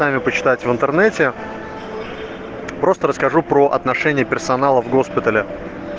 нами почитать в интернете просто расскажу про отношение персонала в госпитале